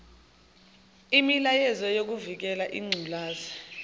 imilayezo yokuvikela ingculaza